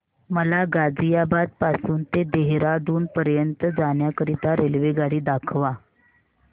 मला गाझियाबाद पासून ते देहराडून पर्यंत जाण्या करीता रेल्वेगाडी दाखवा